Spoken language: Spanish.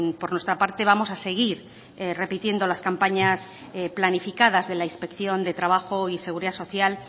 por nuestra parte vamos a seguir repitiendo las campañas planificadas de la inspección de trabajo y seguridad social